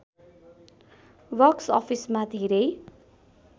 box अफिसमा धेरै